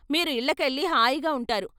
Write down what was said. మీరు ఇళ్ళకెళ్ళి హాయిగా ఉంటారు.